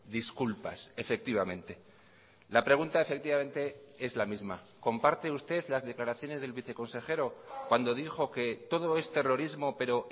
disculpas efectivamente la pregunta efectivamente es la misma comparte usted las declaraciones del viceconsejero cuando dijo que todo es terrorismo pero